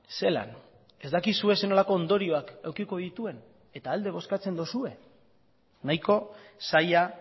zelan ez dakizue zer nolako ondorioak edukiko dituen eta alde bozkatzen duzue nahiko zaila